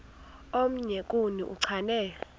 omnye kuni uchane